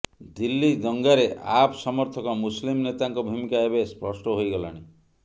ଦିଲ୍ଲୀ ଦଙ୍ଗାରେ ଆପ୍ ସମର୍ଥକ ମୁସଲିମ୍ ନେତାଙ୍କ ଭୂମିକା ଏବେ ସ୍ପଷ୍ଟ ହୋଇଗଲାଣି